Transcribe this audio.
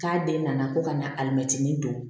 K'a den nana ko ka na alimɛtinin don